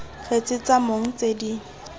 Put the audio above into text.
kgetse tsa mong tse di